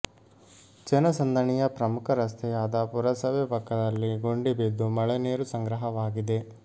ಜನಸಂದಣಿಯ ಪ್ರಮುಖ ರಸ್ತೆಯಾದ ಪುರಸಭೆ ಪಕ್ಕದಲ್ಲಿ ಗುಂಡಿ ಬಿದ್ದು ಮಳೆ ನೀರು ಸಂಗ್ರಹವಾಗಿದೆ